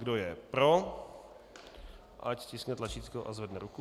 Kdo je pro, ať stiskne tlačítko a zvedne ruku.